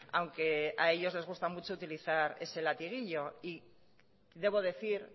aunque a ellos les gusta mucho utilizar ese latiguillo y debo decir